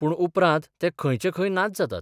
पूण उपरांत ते खंयचे खंय नाच जातात.